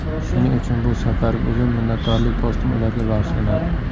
Shuning uchun bu safargi uzun minnatdorlik postim ularga bag‘ishlanadi.